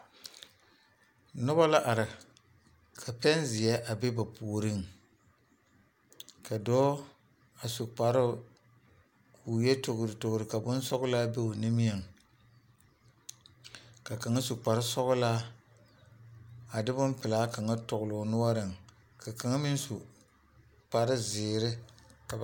Noba la are ka pɛnzeɛ a be ba puoriŋ , ka dɔɔ a su kparoo kɔɔ yɔ toltol ka bonsɔglaa be o niŋɛ , ka kaŋa su kpare sɔglaa a de bonpelaa kaŋa togele o noɔreŋ ka kaŋa meŋ su kpare zeɛ.